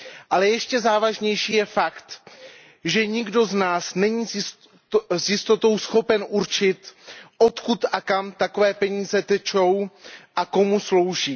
Ale ještě závažnější je fakt, že nikdo z nás není s jistotou schopen určit, odkud a kam takové peníze tečou a komu slouží.